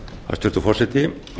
hæstvirtur forseti